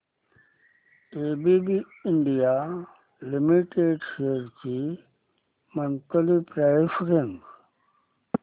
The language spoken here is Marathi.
एबीबी इंडिया लिमिटेड शेअर्स ची मंथली प्राइस रेंज